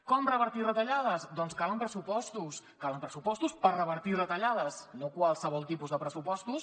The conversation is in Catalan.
com revertir retallades doncs calen pressupostos calen pressupostos per revertir retallades no qualsevol tipus de pressupostos